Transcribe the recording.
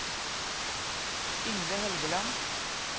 Yngve Helgeland